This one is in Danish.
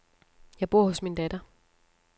Jeg bor hos min datter.